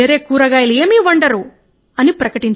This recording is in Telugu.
వేరే కూరగాయలు వండరు అన్నారు